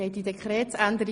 Schlussabstimmung